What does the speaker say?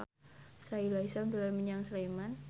Sahila Hisyam dolan menyang Sleman